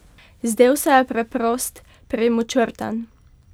Zdel se je preprost, premočrten.